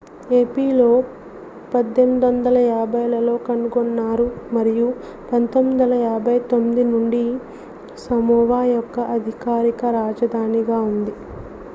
ఏపియా 1850లలో కనుగొన్నారు మరియు 1959 నుండి సమోవా యొక్క అధికారిక రాజధానిగా ఉంది